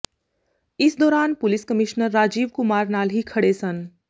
ਇਸ ਦੌਰਾਨ police commissioner Rajiv Kumar ਨਾਲ ਹੀ ਖੜ੍ਹੇ ਸਨ